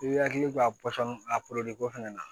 I bi hakili to a a ko fɛnɛ na